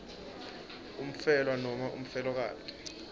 umfelwa nobe umfelokati